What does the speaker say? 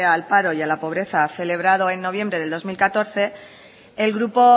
al paro y a la pobreza celebrado en noviembre del dos mil catorce el grupo